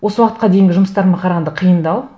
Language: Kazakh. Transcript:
осы уақытқа дейінгі жұмыстарыма қарағанда қиындау